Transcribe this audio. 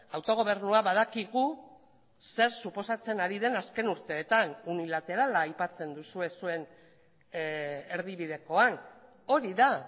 autogobernua badakigu zer suposatzen ari den azken urteetan unilaterala aipatzen duzue zuen erdibidekoan hori da